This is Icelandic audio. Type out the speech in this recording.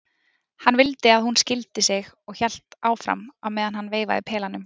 Hann vildi að hún skildi sig og hélt áfram á meðan hann veifaði pelanum